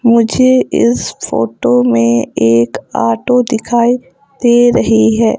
मुझे इस फोटो में एक ऑटो दिखाई दे रही है।